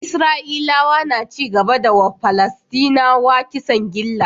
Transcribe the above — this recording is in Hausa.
Isra'ilawa na cigaba da yiwa palasdinawa kisan gilla